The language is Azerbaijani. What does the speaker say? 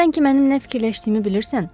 Sən ki mənim nə fikirləşdiyimi bilirsən?